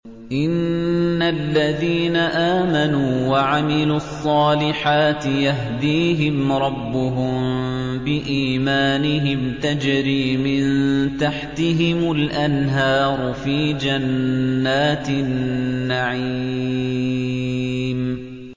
إِنَّ الَّذِينَ آمَنُوا وَعَمِلُوا الصَّالِحَاتِ يَهْدِيهِمْ رَبُّهُم بِإِيمَانِهِمْ ۖ تَجْرِي مِن تَحْتِهِمُ الْأَنْهَارُ فِي جَنَّاتِ النَّعِيمِ